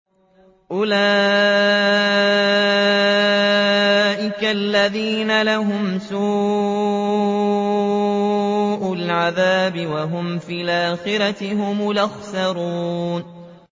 أُولَٰئِكَ الَّذِينَ لَهُمْ سُوءُ الْعَذَابِ وَهُمْ فِي الْآخِرَةِ هُمُ الْأَخْسَرُونَ